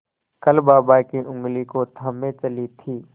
कल बाबा की ऊँगली को थामे चली थी